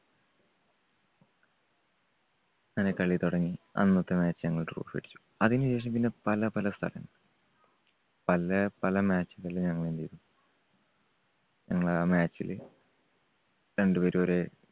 അങ്ങനെ കളി തുടങ്ങി. അന്നത്തെ match ഞങ്ങൾ trophy വേടിച്ചു. അതിനുശേഷം പിന്നെ പല പല സ്ഥലം പല പല match കളിൽ ഞങ്ങൾ എന്ത് ചെയ്തു ഞങ്ങൾ ആ match ല് രണ്ടുപേരും ഒരേ